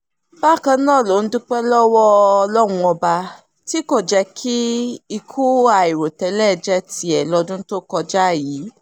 bákan náà ló ń dúpẹ́ lọ́wọ́ ọlọ́run ọba tí kò jẹ́ kí ikú àìròtẹ́lẹ̀ jẹ́ tiẹ̀ lọ́dún tó kọjá yìí